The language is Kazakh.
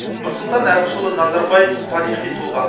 нұрсұлтан әбішұлы назарбаев тарихи тұлға